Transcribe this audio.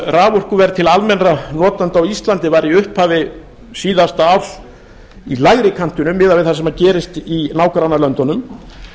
raforkuverð til almennra notenda á íslandi var í upphafi síðasta árs í lægri kantinum miðað við það sem gerist í nágrannalöndunum